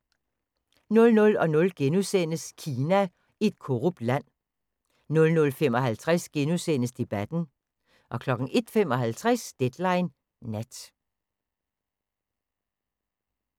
00:00: Kina – et korrupt land * 00:55: Debatten * 01:55: Deadline Nat